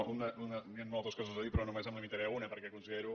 no hi ha moltes coses a dir però només em limitaré a una perquè considero